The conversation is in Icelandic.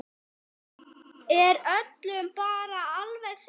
Er öllum bara alveg sama?